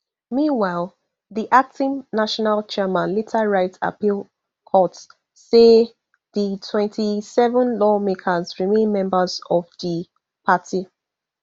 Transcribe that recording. meanwhile di acting national chairman later write appeal court say di twenty-seven lawmakers remain members of di party